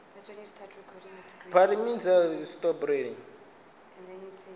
munwe kha tshitafu a shele